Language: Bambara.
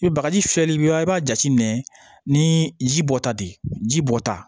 I bɛ bagaji fiyɛli bɛ i b'a jate minɛ ni ji bɔ ta de ye ji bɔta